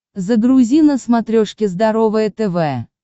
загрузи на смотрешке здоровое тв